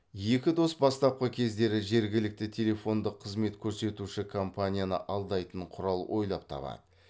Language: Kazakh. екі дос бастапқы кездері жергілікті телефондық қызмет көрсетуші компанияны алдайтын құрал ойлап табады